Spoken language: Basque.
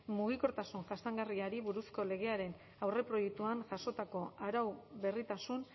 mugikortasun jasangarriari buruzko legearen aurreproiektuan jasotako arau berritasun